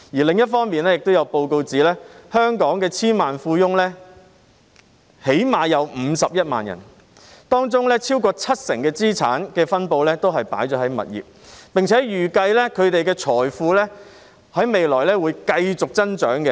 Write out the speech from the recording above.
另一方面，也有報告指出，香港最少有51萬名千萬富翁，當中超過七成資產分布也是在物業，並且預計他們的財富未來會繼續增長。